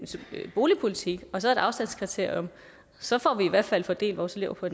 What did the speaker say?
boligpolitik og så et afstandskriterium så får vi i hvert fald fordelt vores elever på